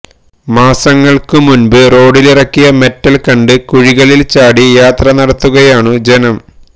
മാസങ്ങൾക്കു മുൻപ് റോഡിലിറക്കിയ മെറ്റൽ കണ്ട് കുഴികളിൽ ചാടി യാത്ര നടത്തുകയാണു ജനം